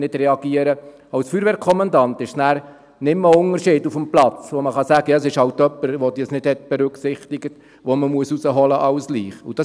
Für den Feuerwehrkommandanten macht es keinen Unterschied, ob er die Leiche von jemandem herausholen muss, der dies nicht beachtet hat.